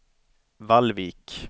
Vallvik